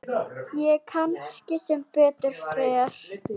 Og kannski sem betur fer.